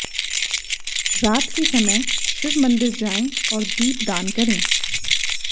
रात के समय शिव मंदिर जाएं और दीप दान करें